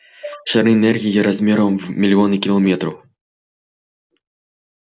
шары энергии размером в миллионы километров